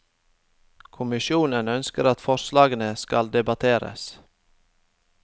Kommisjonen ønsker at forslagene skal debatteres.